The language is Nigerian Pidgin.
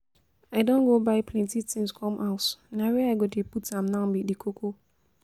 I don go buy plenty things come house, na where I go dey put am now be the koko